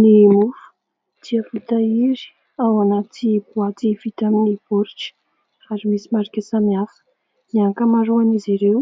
Ny mofo dia voatahiry ao anaty boaty vita amin'ny baoritra ary misy marika samihafa. Ny ankamaroan'izy ireo